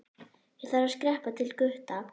Ég þarf að skreppa til Gutta.